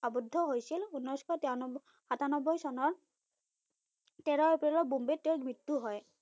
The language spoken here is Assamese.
আবদ্ধ হৈছিল উনৈসশ তিৰান্নবৈ সাতান্নবৈ চনৰ তেৰ এপ্ৰিলৰ বোম্বেত তেওঁৰ মৃত্যু হয়।